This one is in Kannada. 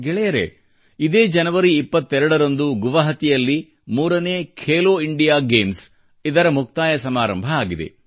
ಗೆಳೆಯರೇ ಇದೇ ಜನವರಿ 22 ರಂದು ಗುವಹಾಟಿಯಲ್ಲಿ ಮೂರನೇ ಖೇಲೋ ಇಂಡಿಯಾ ಗೇಮ್ಸ್ ಇದರ ಮುಕ್ತಾಯ ಸಮಾರಂಭ ಆಗಿದೆ